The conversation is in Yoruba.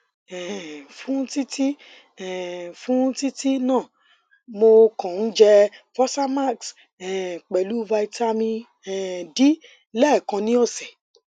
um fún títí um fún títí náà mo kàn ń jẹ fosamax um pelu vitamin um d lẹẹkan ni ọsẹ